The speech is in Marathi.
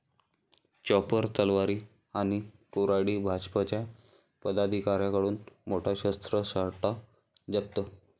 चॉपर, तलवारी आणि कुऱ्हाडी...भाजपच्या पदाधिकाऱ्याकडून मोठा शस्त्रसाठा जप्त